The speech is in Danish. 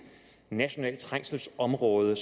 nationalt trængselområde